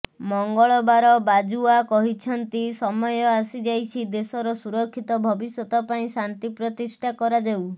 ମଙ୍ଗଳବାର ବାଜଓ୍ବା କହିଛନ୍ତି ସମୟ ଆସିଯାଇଛି ଦେଶର ସୁରକ୍ଷିତ ଭବିଷ୍ୟତ ପାଇଁ ଶାନ୍ତି ପ୍ରତିଷ୍ଠା କରାଯାଉ